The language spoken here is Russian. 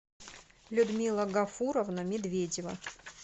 людмила гафуровна медведева